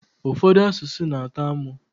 Ụfọdụ asụsụ n'atọ amụ